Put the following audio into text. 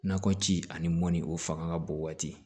Nakɔ ci ani mɔni o fanga ka bon waati